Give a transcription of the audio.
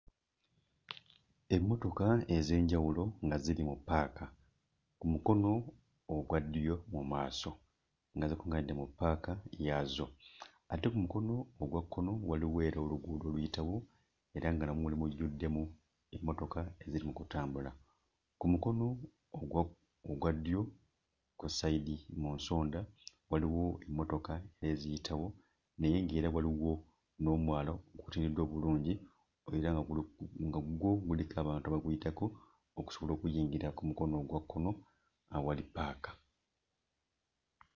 Emmotoka ez'enjawulo nga ziri mu ppaaka ku mukono ogwaddyo mu maaso, nga zikuŋŋaanidde mu ppaaka yaazo, ate ku mukono ogwa kkono waliwo era oluguudo oluyitawo era nga namwo mujjuddemu emmotoka eziri mu kutambula. Ku mukono ogwaogwa ddyo ku ssayidi mu nsonda waliwo emmotoka eziyitawo naye ng'era waliwo n'omwala oguteredde obulungi era nga guli nga gwo guliko abantu abaguyitako okusobola okuyingira ku mukono ogwakkono awali ppaaka.